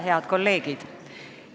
Head kolleegid!